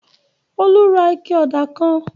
Olú ra ike ọ̀dà kan.